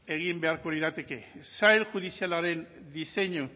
egin beharko lirateke sail judizialaren diseinu